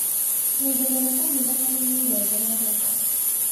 Nyongerera kahinda kanini gwethere mbeca.